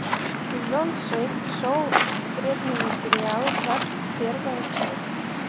сезон шесть шоу секретные материалы двадцать первая часть